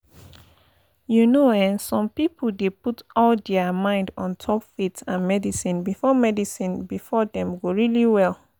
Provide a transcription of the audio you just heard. you know eh some pipo dey put all dia mind ontop faith and medicine befor medicine befor dem go really well?